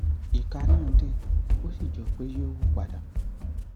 ìka náà dẹ ó sì jọ pé yóò hù padà